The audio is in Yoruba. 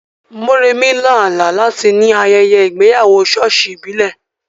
Moremi lá àlá láti ní ayẹyẹ ìgbéyàwó ṣọ́ọ̀ṣì ìbílẹ̀.